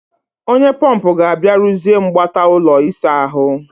Onye pọmpụ ga-abịa rụziee mgbata ụlọ ịsa ahụ